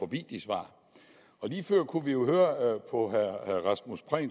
de svar og lige før kunne vi jo høre på herre rasmus prehn